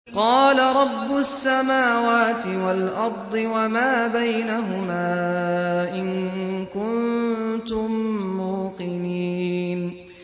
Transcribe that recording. قَالَ رَبُّ السَّمَاوَاتِ وَالْأَرْضِ وَمَا بَيْنَهُمَا ۖ إِن كُنتُم مُّوقِنِينَ